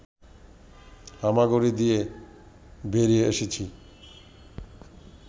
হামাগুড়ি দিয়ে বেরিয়ে এসেছি